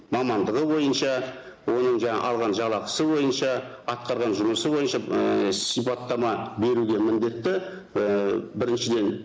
мамандығы бойынша оның жаңа алған жалақысы бойынша атқарған жұмысы бойынша ііі сипаттама беруге міндетті ііі біріншіден